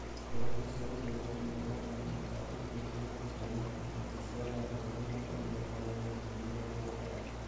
Ngoroco cia gũciarithanio ikoraga na mĩaka ĩrĩ thũtha wa gũciarithanio na ciciaraga ngoroco mĩaka mĩrongo ĩna nginya mĩrongo ĩtano